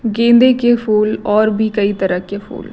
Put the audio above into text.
गेंदे के फूल और भी कई तरह के फूल--